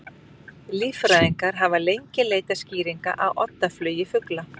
Líffræðingar hafa lengi leitað skýringa á oddaflugi fugla.